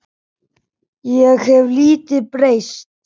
Ég hef lítið breyst.